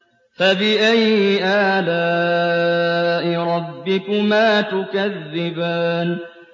فَبِأَيِّ آلَاءِ رَبِّكُمَا تُكَذِّبَانِ